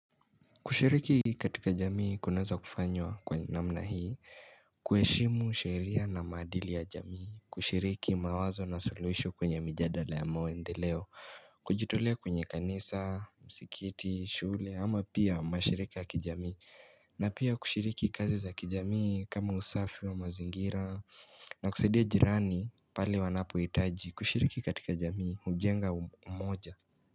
Kushiriki katika jamii kunaweza kufanywa kwa namna hii kuheshimu sheria na maadili ya jamii kushiriki mawazo na solution kwenye mjadala ya mwendeleo Kujitulea kwenye kanisa, msikiti, shule ama pia mashirika ya kijamii na pia kushiriki kazi za kijamii kama usafi wa mazingira na kusaidia jirani pale wanapohitaji kushiriki katika jamii, hujenga umoja.